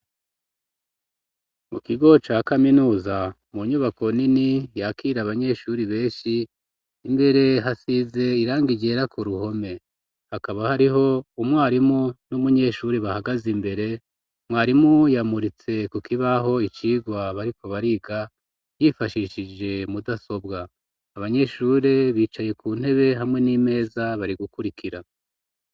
Mu kigo ca kaminuza mu nyubako nini yakire abanyeshuri beshi imbere hasize irangi ryera ku ruhome hakaba hariho umwarimu n'umunyeshuri bahagaze imbere mwarimu yamuritse ku kibaho icirwa bariko bariga yifashishije mudasobwa abanyeshure bicaye ku ntebe hamwe n'imeza bari gukurikira